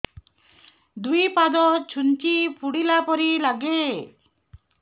ଦୁଇ ପାଦ ଛୁଞ୍ଚି ଫୁଡିଲା ପରି ଲାଗେ